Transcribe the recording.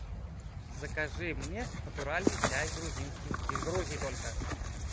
закажи мне натуральный чай грузинский из грузии только